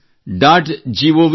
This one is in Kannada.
gov